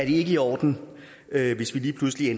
i orden hvis vi lige pludselig